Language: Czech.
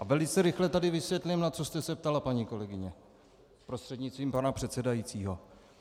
A velice rychle tady vysvětlím, na co jste se ptala, paní kolegyně prostřednictvím pana předsedajícího.